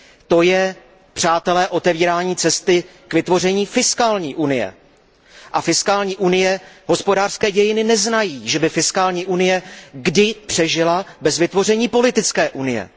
To je, přátelé, otevírání cesty k vytvoření fiskální unie a hospodářské dějiny neznají, že by fiskální unie kdy přežila bez vytvoření politické unie.